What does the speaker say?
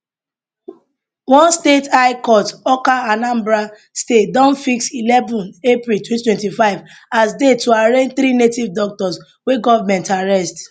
one state high court awka anambra state don fix eleven april 2025 as date to arraign three native doctors wey government arrest